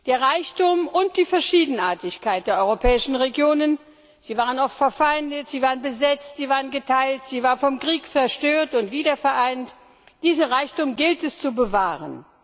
Den Reichtum und die Verschiedenartigkeit der europäischen Regionen sie waren oft verfeindet, sie waren besetzt, sie waren geteilt, sie waren vom Krieg zerstört und wiedervereint gilt es zu bewahren.